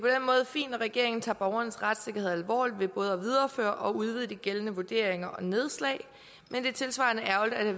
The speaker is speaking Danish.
fint at regeringen tager borgernes retssikkerhed alvorligt ved både at videreføre og udvide de gældende vurderinger og nedslag men det er tilsvarende ærgerligt at